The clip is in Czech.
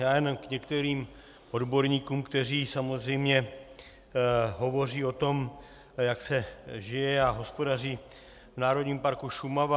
Já jen k některým odborníkům, kteří samozřejmě hovoří o tom, jak se žije a hospodaří v Národním parku Šumava.